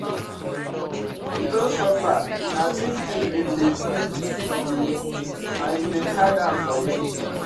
You don suffer, na this thing been dey do you and you dey hide am for me.